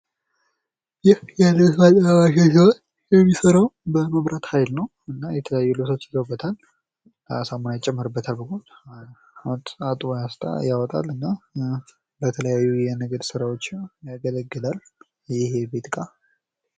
ይህ የልብስ ማጠቢያ ማሽን ሲሆን የሚሰራው በመብራት ሀይል ነው። የተለያዩ ልብሶች ይገቡበታል። አጥቦ ያወጣል። ለተለያዩ የንግድ ስራወችም ያገለግላል። ይህ የቤት እቃ።